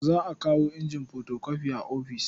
Za a kawo injin fotokofi a ofis.